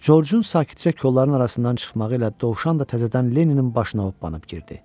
Corcun sakitcə kollarıın arasından çıxmağı ilə dovşan da təzədən Lenninin başına hoppanıb girdi.